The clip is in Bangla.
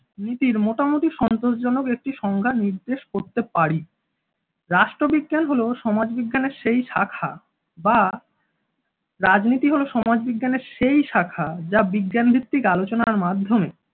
নীতির মোটামুটি সন্তোষজনক একটি সংজ্ঞা নির্দেশ করতে পারি। রাষ্ট্রবিজ্ঞান হল সমাজবিজ্ঞানের সেই শাখা বা রাজনীতি হলো সমাজ বিজ্ঞানের সেই শাখা যা বিজ্ঞানভিত্তিক আলোচনার মাধ্যমে